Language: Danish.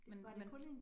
Men men